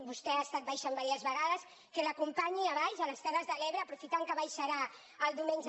vostè hi ha estat baixant diverses vegades que l’acompanyi a baix a les terres de l’ebre aprofitant que baixarà el diumenge